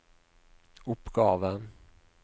oppgave